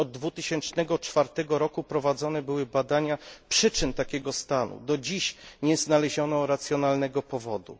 Już od 2004 roku prowadzone były badania przyczyn takiego stanu. Do dziś nie znaleziono racjonalnej odpowiedzi.